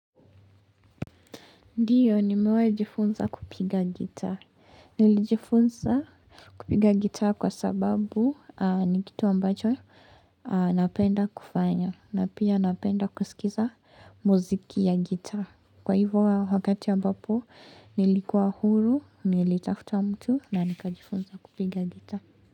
Ndiyo, nimewai jifunza kupiga gita. Nilijifunza kupiga gitaa kwa sababu ni kitu ambacho napenda kufanya. Na pia napenda kusikiza muziki ya gitaa. Kwa hivyo wakati ambapo, nilikuwa huru, nilitafutua mtu na nikajifunza kupiga gita.